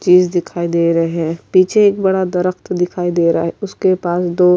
چیز دکھائی دے رہے ہے۔ پیچھے ایک بڑا درخت دکھائی دے رہا ہے. اسکے پاس دو --